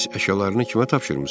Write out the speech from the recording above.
Bəs əşyalarını kimə tapşırmısan?